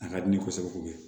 A ka di ne kosɛbɛ kosɛbɛ